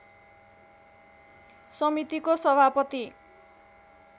समितिको सभापति